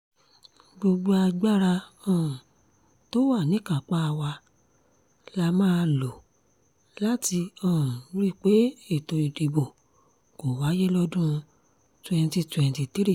gbogbo agbára um tó wà níkápá wa la máa lò láti um rí i pé ètò ìdìbò kò wáyé lọ́dún twenty twenty three